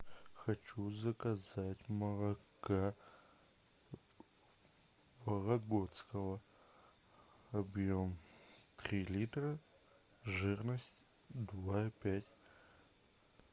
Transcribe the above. хочу заказать молока вологодского объем три литра жирность два и пять